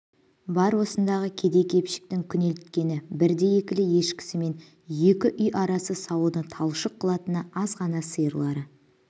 бар осындағы кедей-кепшіктің күнелткені бірді-екілі ешкісі мен екі үй ара сауыны талшық қылатыны аз ғана сиырлары